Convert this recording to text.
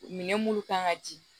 Minɛn munnu kan ka ji